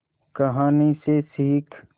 कहानी से सीख